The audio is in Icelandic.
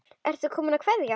Ertu kominn að kveðja?